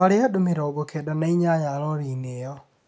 Twarĩ andũ mĩrongo kenda na inyanya rori-inĩ ĩyo.